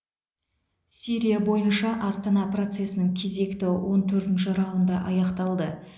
сирия бойынша астана процесінің кезекті он төртінші раунды аяқталды